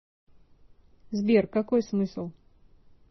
сбер какой смысл